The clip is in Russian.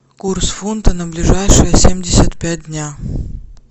курс фунта на ближайшие семьдесят пять дня